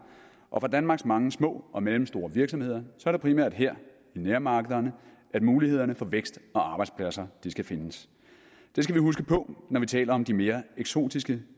og for danmarks mange små og mellemstore virksomheder er det primært her i nærmarkederne mulighederne for vækst og arbejdspladser skal findes det skal vi huske på når vi taler om de mere eksotiske